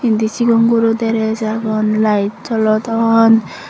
indi cigon guro dress agon layet jolodon.